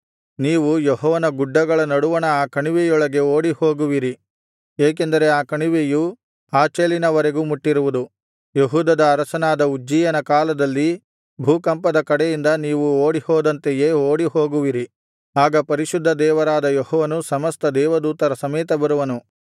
ನೀವು ಯೆಹೋವನ ಗುಡ್ಡಗಳ ನಡುವಣ ಆ ಕಣಿವೆಯೊಳಗೆ ಓಡಿಹೋಗುವಿರಿ ಏಕೆಂದರೆ ಆ ಕಣಿವೆಯು ಆಚೆಲಿನವರೆಗೂ ಮುಟ್ಟಿರುವುದು ಯೆಹೂದದ ಅರಸನಾದ ಉಜ್ಜೀಯನ ಕಾಲದಲ್ಲಿ ಭೂಕಂಪದ ಕಡೆಯಿಂದ ನೀವು ಓಡಿಹೋದಂತೆಯೇ ಓಡಿಹೋಗುವಿರಿ ಆಗ ಪರಿಶುದ್ಧ ದೇವರಾದ ಯೆಹೋವನು ಸಮಸ್ತ ದೇವದೂತರ ಸಮೇತ ಬರುವನು